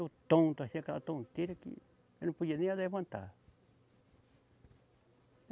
Eu tonto, assim aquela tonteira que eu não podia nem me levantar.